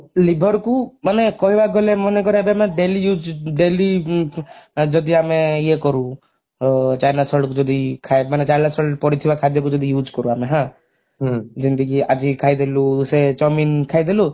liver କୁ ମାନେ କହିବାକୁ ଗଲେ ମନେକର ଯଦି ଆମେ daily use daily ଯଦି ଆମେ ଇୟେ କରୁ china salt ଯଦି ମାନେ china salt ପଡିଥିବା ଖାଦ୍ୟକୁ ଯଦି use କରୁ ଆମେ ହାଁ ଯେମିତିକି ଆଜି ଖାଇଦେଲୁ ସେ chowmein ଖାଇଦେଲୁ